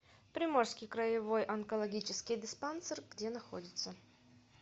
приморский краевой онкологический диспансер где находится